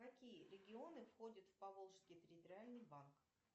какие регионы входят в поволжский территориальный банк